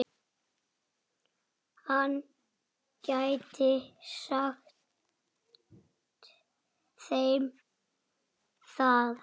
Hann gæti sagt þeim það.